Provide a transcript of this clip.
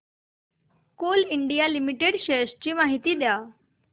Coal India Limited shares ची माहिती द्या